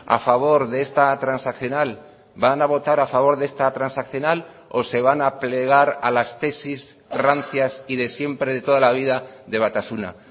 a favor de esta transaccional van a votar a favor de esta transaccional o se van a plegar a las tesis rancias y de siempre de toda la vida de batasuna